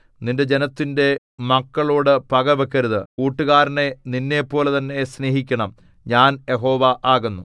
നിന്റെ ജനത്തിന്റെ മക്കളോടു പക വെക്കരുത് കൂട്ടുകാരനെ നിന്നെപ്പോലെതന്നെ സ്നേഹിക്കണം ഞാൻ യഹോവ ആകുന്നു